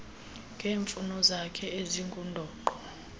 ngeemfuno zakhe ezingundoqo